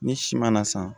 Ni si mana san